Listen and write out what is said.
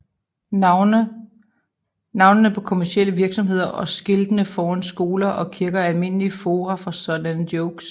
Navnene på kommercielle virksomheder og skiltene foran skolen og kirken er almindelige fora for sådanne jokes